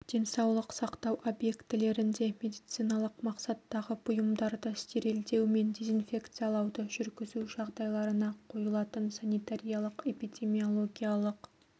денсаулық сақтау объектілерінде медициналық мақсаттағы бұйымдарды стерилдеу мен дезинфекциялауды жүргізу жағдайларына қойылатын санитариялық-эпидемиологиялық